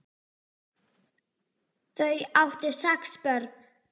Þau áttu sex börn.